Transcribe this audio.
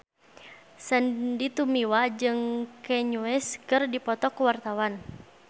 Sandy Tumiwa jeung Kanye West keur dipoto ku wartawan